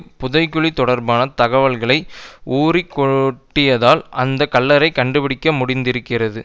புதைகுழி தொடர்பான தகவல்களை உளறிக் கொட்டியதால் அந்த கல்றையை கண்டுபிடிக்க முடிந்திருக்கிறது